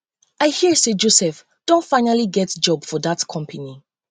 i hear say joseph um don finally get job for dat company